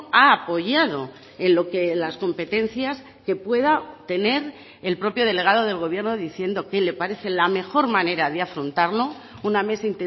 ha apoyado en lo que las competencias que pueda tener el propio delegado del gobierno diciendo que le parece la mejor manera de afrontarlo una mesa